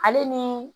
Ale ni